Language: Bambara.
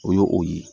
O ye o ye